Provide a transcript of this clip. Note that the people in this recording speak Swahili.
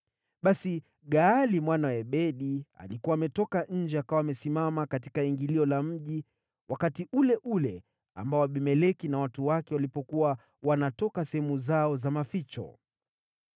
Basi Gaali mwana wa Ebedi alikuwa ametoka nje akawa amesimama katika ingilio la mji wakati ule ule ambao Abimeleki na watu wake walipokuwa wanatoka sehemu zao za maficho.